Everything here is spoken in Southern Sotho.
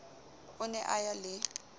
o ne a ya le